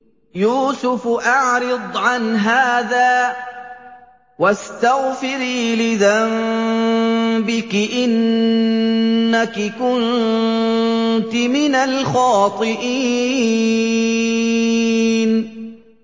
يُوسُفُ أَعْرِضْ عَنْ هَٰذَا ۚ وَاسْتَغْفِرِي لِذَنبِكِ ۖ إِنَّكِ كُنتِ مِنَ الْخَاطِئِينَ